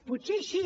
potser així